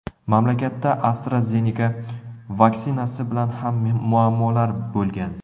Mamlakatda AstraZeneca vaksinasi bilan ham muammolar bo‘lgan.